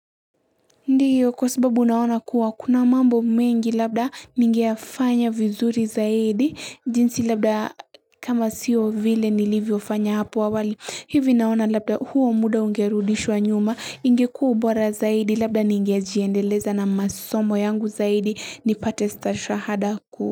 Ndiyo kwa sababu unaona kuwa kuna mambo mengi labda ningea fanya vizuri zaidi jinsi labda kama siyo vile nilivyo fanya hapu awali hivi naona labda huo muda ungerudishwa nyuma ingekua ubora zaidi labda ningea jiendeleza na masomo yangu zaidi nipate stashahada kuu.